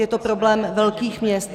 Je to problém velkých měst.